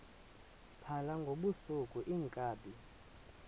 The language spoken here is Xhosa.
phala ngobusuku iinkabi